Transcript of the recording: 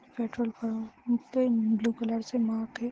Petrol pump पे blue colour से mark है।